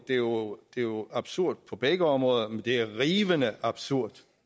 det er jo jo absurd på begge områder men det er rivende absurd